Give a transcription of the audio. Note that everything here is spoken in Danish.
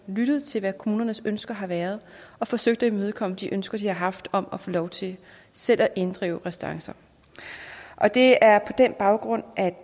lyttet til hvad kommunernes ønsker har været og forsøgt at imødekomme de ønsker de har haft om at få lov til selv at inddrive restancer og det er på den baggrund at